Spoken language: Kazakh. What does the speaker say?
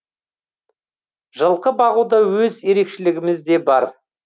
жылқы бағуда өз ерекшілігімізде бар